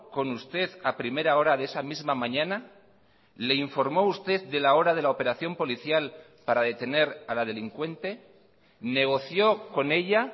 con usted a primera hora de esa misma mañana le informó usted de la hora de la operación policial para detener a la delincuente negoció con ella